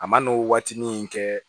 A man n'o waatinin kɛ